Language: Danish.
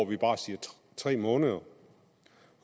vi bare siger tre måneder